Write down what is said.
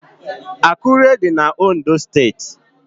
Akure dị na Ondo steeti